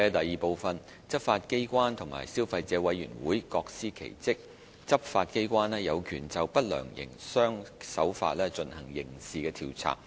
二執法機關和消費者委員會各司其職，執法機關有權就不良營商手法進行刑事調查。